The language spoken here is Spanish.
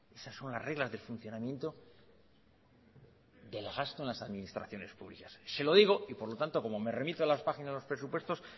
esas son las reglas del funcionamiento del gasto en las administraciones públicas se lo digo y por lo tanto como me remito a las páginas de los presupuestos